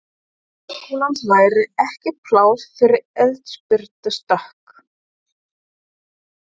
Háskólans væri ekki pláss fyrir eldspýtustokk!